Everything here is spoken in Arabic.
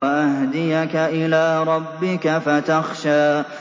وَأَهْدِيَكَ إِلَىٰ رَبِّكَ فَتَخْشَىٰ